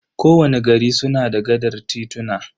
Ko wani gari suna da gaɗar tituna.